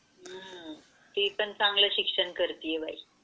ती पण चांगला शिक्षण करती आहे बाई.